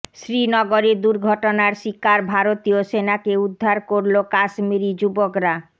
শ্রীনগরে দুর্ঘটনার শিকার ভারতীয় সেনাকে উদ্ধার করল কাশ্মিরি যুবকরা